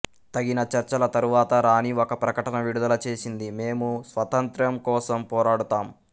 తగిన చర్చల తరువాత రాణి ఒక ప్రకటన విడుదల చేసింది మేము స్వాతంత్ర్యం కోసం పోరాడుతాం